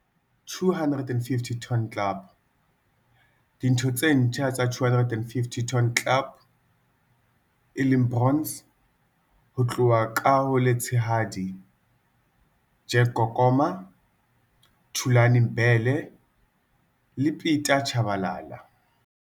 250 ton Club. Ditho tse ntjha tsa 250 Ton Club, bronze, ho tloha ka ho le letshehadi- Jack Kokoma, Thulane Mbhele le Pieter Chabalala.